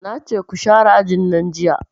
Nace ku share ajin nan jiya